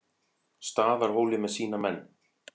Staðarhóli með sína menn.